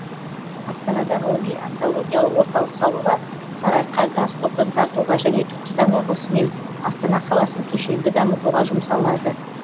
астанада ғылыми онкологиялық орталық салуға сарыарқа газ құбырын тартуға және түркістан облысы мен астана қаласын кешенді дамытуға жұмсалады